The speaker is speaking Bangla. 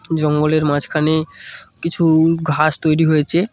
জঙ্গলের মাঝখানে কিছুই ঘাস তৈরি হয়েছে।